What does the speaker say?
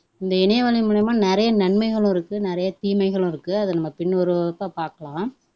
இந்த இணையவழி மூலமா நிறைய நன்மைகளும் இருக்கு நிறைய தீமைகளும் இருக்கு அதை நம்ம பின் பாக்கலாம்